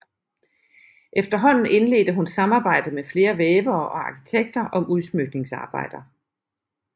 Efterhånden indledte hun samarbejde med flere vævere og arkitekter om udsmykningsarbejder